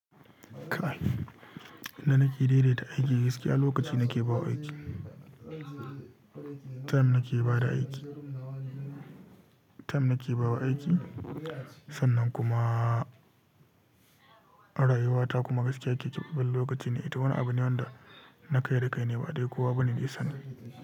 Da nake daidaita aiki gaskiya lokaci nake bawa aiki, time nake bada aiki, time nake bawa aiki. Sannan kuma rayuwata kuma gaskiya ke keɓe lokaci ne. Ito wani abu ne wanda na kai da kai ne ba dai kuwa bani nisan.